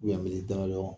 damadɔn